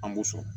An b'o sɔrɔ